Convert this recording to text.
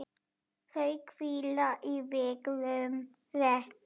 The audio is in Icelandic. Þau hvíla í vígðum reit.